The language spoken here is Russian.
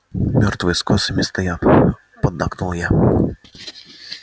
мёртвые с косами стоят поддакнул я